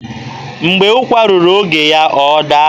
Mgbe ụkwa ruru oge ya, ọ ga-ada.